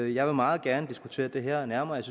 jeg meget gerne diskutere det her nærmere jeg